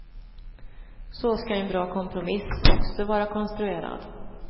Så ska en bra kompromiss också vara konstruerad.